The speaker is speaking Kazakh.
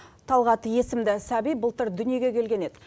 талғат есімді сәби былтыр дүниеге келген еді